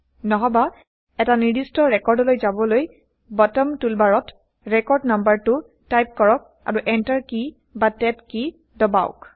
নহবা এটা নিৰ্দিষ্ট ৰেকৰ্ডলৈ যাবলৈ বটম টুলবাৰত ৰেকৰ্ড নাম্বাৰটো টাইপ কৰক আৰু এন্টাৰ কী বা টেব কী দবাওক